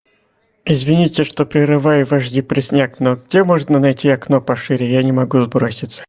извините что прерываю ваш депресняк но где можно найти окно пошире я не могу сброситься